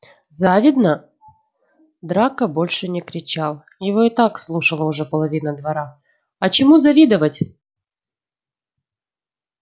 завидно драко больше не кричал его и так слушала уже половина двора а чему завидовать